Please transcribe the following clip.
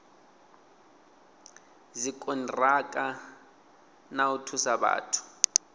dzikoniraka na u thusa vhathu